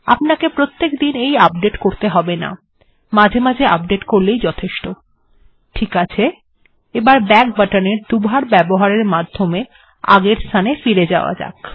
আপনাকে প্রত্যেক দিন এই আপডেট্ করতে হবে না মাঝে মাঝে আপডেট্ করলেই যথেষ্ট ঠিকআছে তাহলে ব্যাক বাটন্ এর দুইবার ব্যবহারের মাধ্যমে আগের স্থানে ফিরে যাওয়া যাক